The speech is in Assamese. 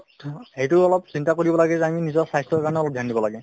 সেইটোও অলপ চিন্তা কৰিব লাগে যে আমি নিজৰ স্বাস্থ্যৰ কাৰণে অলপ dhyan দিব লাগে